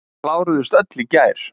Kláruðust öll í gær.